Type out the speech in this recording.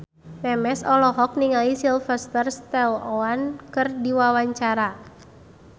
Memes olohok ningali Sylvester Stallone keur diwawancara